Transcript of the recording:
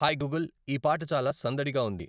hi Google ఈ పాట చాలా సందడిగా ఉంది